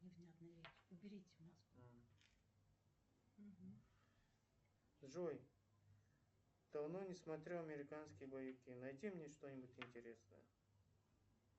джой давно не смотрел американские боевики найди мне что нибудь интересное